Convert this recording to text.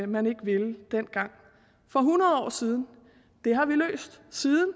man ikke ville dengang for hundrede år siden det har vi løst siden